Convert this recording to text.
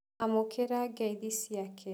Amũkĩra ngeithi ciake.